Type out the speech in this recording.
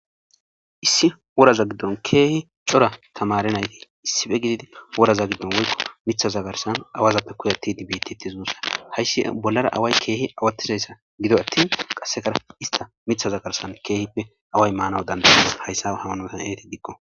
issi woraza giddon keehi cora tamare nayti issife gididi woraza giddon woykko mitha zagarsan awazappe kuyatti dibiititi zuussa hayssi bollara away keehi awattizayssa gido attin qasekar ista mitha zagarsan keehippe away maanawu dandaya hayssa hawanosan eeti diqqo